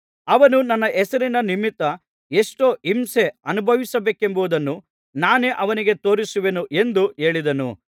ಅವನು ನನ್ನ ಹೆಸರಿನ ನಿಮಿತ್ತ ಎಷ್ಟು ಹಿಂಸೆ ಅನುಭವಿಸಬೇಕೆಂಬುದನ್ನು ನಾನೇ ಅವನಿಗೆ ತೋರಿಸುವೆನು ಎಂದು ಹೇಳಿದನು